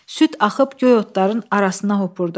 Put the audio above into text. Süd axıb göy otların arasına hopurdu.